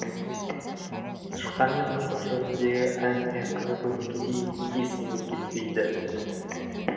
тышқан мен мысық жөніндегі әңгіме күні бүгінге дейін есімнен кетпейді